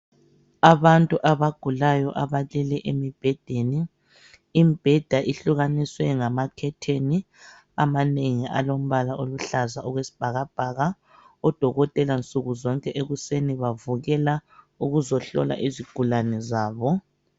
Abantu abagulayo abalele emibhedeni, imbheda ihlukaniswe ngama khetheni amanengi alombala oluhlaza okwesibhakabhaka , odokotela nsukuzonke ekuseni bavukela ukuzohlola izigulane zabo